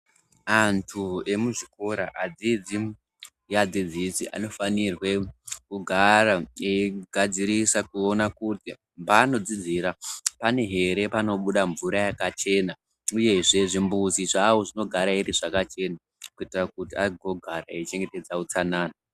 Antu emuzvikora adzidzi ngeadzidzisi anofanirwe kugara eigadzirisa kuona kuti paanodzidzira pane here panobuda mvura yakachena. Uyezve zvimbuzi zvavo zvinogara here zvakachena kuitira kuti agogara eichengetedza utsanana.